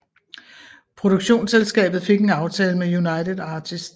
Produktionsselskabet fik en aftale med United Artists